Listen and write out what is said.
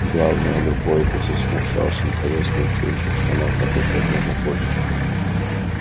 главное любой бы засмущался находясь на вечеринке в штанах на пять размеров больше